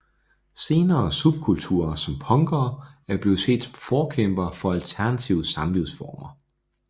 Senere subkulturer som punkere er blevet set som forkæmpere for alternative samlivsformer